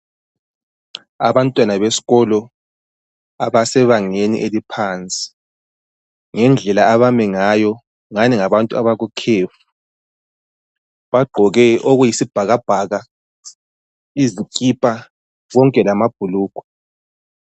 Abantwana besikolo abasebangeni eliphansi ngendlela abami ngayo ngani ngabantu abakukhefu bagqoke okuyisibhakabhaka izikipa konke lama bhulugwa.